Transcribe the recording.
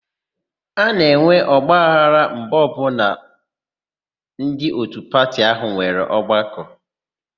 A na-enwe ọgbaghara mgbe ọbụla ndị òtù pati áhụ̀ nwere ọgbakọ.